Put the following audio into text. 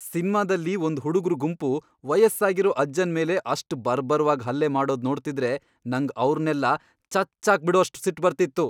ಸಿನ್ಮಾದಲ್ಲಿ ಒಂದ್ ಹುಡುಗ್ರು ಗುಂಪು ವಯಸ್ಸಾಗಿರೋ ಅಜ್ಜನ್ ಮೇಲೆ ಅಷ್ಟ್ ಬರ್ಬರ್ವಾಗ್ ಹಲ್ಲೆ ಮಾಡೋದ್ ನೋಡ್ತಿದ್ರೆ ನಂಗ್ ಅವ್ರ್ನೆಲ್ಲ ಚಚ್ಚಾಕ್ಬಿಡೋಷ್ಟ್ ಸಿಟ್ಟ್ ಬರ್ತಿತ್ತು.